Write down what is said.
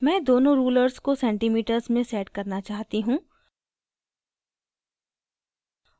मैं दोनों rulers को centimeters में set करना चाहती हूँ